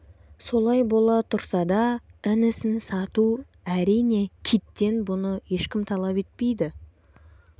солай бола тұрса да інісін сату әрине киттен бұны ешкім талап етпейді